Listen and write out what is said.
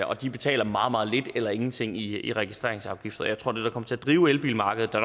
og de betaler meget meget lidt eller ingenting i i registreringsafgift jeg tror at det der kommer til at drive elbilmarkedet der